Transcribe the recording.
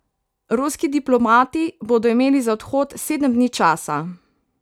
Ruski diplomati bodo imeli za odhod sedem dni časa.